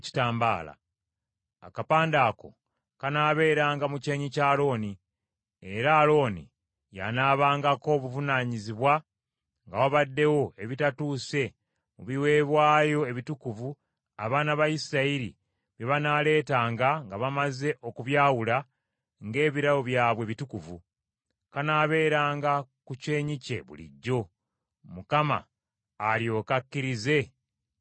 Akapande ako kanaabeeranga mu kyenyi kya Alooni, era Alooni y’anaabangako obuvunaanyizibwa nga wabaddewo ebitatuuse mu biweebwayo ebitukuvu abaana ba Isirayiri bye banaaleetanga nga bamaze okubyawula ng’ebirabo byabwe ebitukuvu; kanaabeeranga ku kyenyi kye bulijjo, Mukama alyoke akkirize ebirabo ebyo.